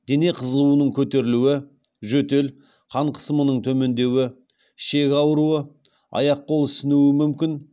дене қызуының көтерілуі жөтел қан қысымының төмендеуі ішек ауруы аяқ қол ісінуі мүмкін